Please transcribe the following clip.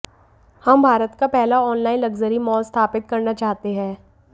हम भारत का पहला ऑनलाइन लक्जरी मॉल स्थापित करना चाहते हैं